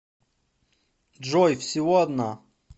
джой всего одна